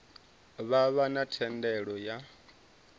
vha vha na thendelo ya